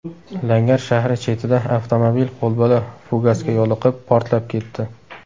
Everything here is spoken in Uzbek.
Langar shahri chetida avtomobil qo‘lbola fugasga yo‘liqib, portlab ketdi.